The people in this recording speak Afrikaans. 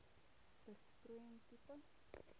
besproeiing tipe